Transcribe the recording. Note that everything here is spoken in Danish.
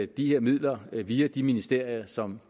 de her midler via de ministerier som